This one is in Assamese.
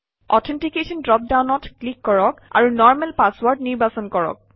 অথেন্টিকেশ্যন ড্ৰপ ডাউনত ক্লিক কৰক আৰু নৰ্মেল পাছৱৰ্ড নিৰ্বাচন কৰক